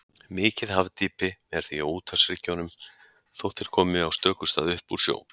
Mikið hafdýpi er því á úthafshryggjunum, þótt þeir komi á stöku stað upp úr sjó.